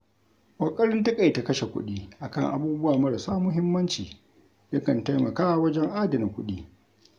Ƙoƙarin taƙaita kashe kuɗi akan abubuwa marasa muhimmanci, yakan taimaka wajen adana kuɗi.